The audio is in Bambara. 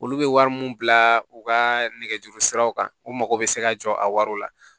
Olu bɛ wari mun bila u ka nɛgɛjuru siraw kan u mago bɛ se ka jɔ a wari la